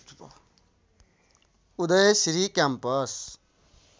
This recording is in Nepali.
उदय श्री क्याम्पस